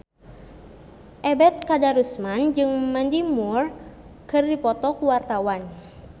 Ebet Kadarusman jeung Mandy Moore keur dipoto ku wartawan